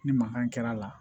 Ni mankan kɛra a la